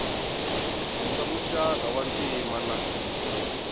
swa muxaka wa ntima na